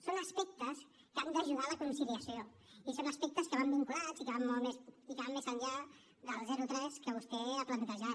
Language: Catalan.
són aspectes que han d’ajudar la conciliació i són aspectes que van vinculats i que van més enllà del zero tres que vostè ha plantejat